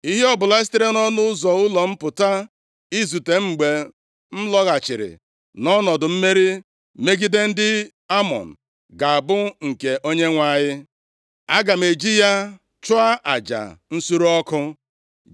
ihe ọbụla sitere nʼọnụ ụzọ ụlọ m pụta izute m mgbe m lọghachiri nʼọnọdụ mmeri megide ndị Amọn, ga-abụ nke Onyenwe anyị. Aga m eji ya chụọ aja nsure ọkụ.”